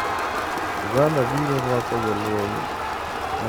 Uganda biro rwako jolweny mawuok Israel